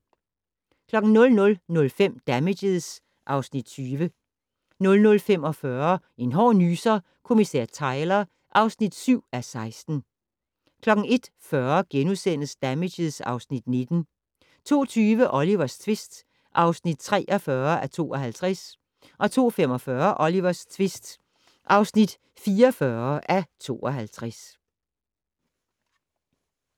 00:05: Damages (Afs. 20) 00:45: En hård nyser: Kommissær Tyler (7:16) 01:40: Damages (Afs. 19)* 02:20: Olivers tvist (43:52) 02:45: Olivers tvist (44:52)